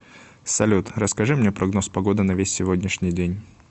салют расскажи мне прогноз погоды на весь сегодняшний день